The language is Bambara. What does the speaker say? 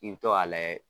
I bi to k'a layɛ